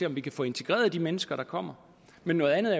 om vi kan få integreret de mennesker der kommer men noget andet